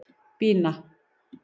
Bína